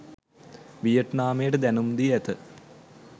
වියට්නාමයට දැනුම් දී ඇත